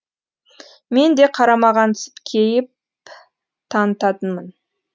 мен де қарамағансып кейіп танытатынмын